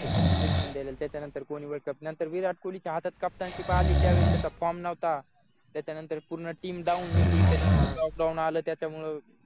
धोनीने जिंकूम दिलेला त्याच्यानंतर नंतर कोणी world cup नंतर विराट कोहली च्या हातात कप्तानशिप आली त्यावेळेस त्याचा form नव्हता त्याच्यानंतर पूर्ण team down होती त्यानं आलं त्याच्यामुळं